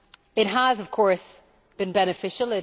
It has, of course, been beneficial.